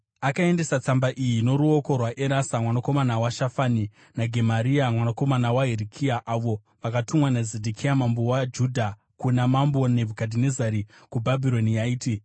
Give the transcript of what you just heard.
Akaendesa tsamba iyi noruoko rwaErasa, mwanakomana waShafani, naGemaria mwanakomana waHirikia, avo vakatumwa naZedhekia mambo waJudha kuna Mambo Nebhukadhinezari kuBhabhironi. Yaiti: